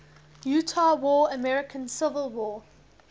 utah war american civil war